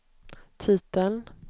titeln